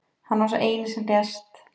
Hann var sá eini sem lést